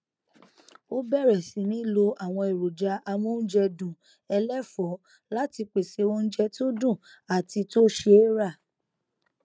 ó bẹrẹ sì ní lo àwọn èròjà amóúnjẹdùn ẹlẹfọọ láti pèsè oúnjẹ tó dùn àti tó ṣe é rà